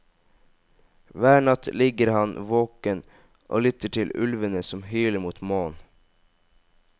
Hver natt ligger han våken og lytter til ulvene som hyler mot månen.